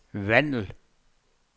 Vandel